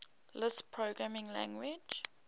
lisp programming language